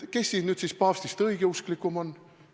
Kes siis nüüd paavstist usklikum on?